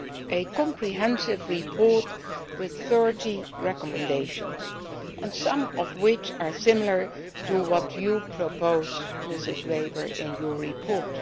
a comprehensive report with 30 recommendations, some of which are similar to what you propose, Ms Weber, in your report.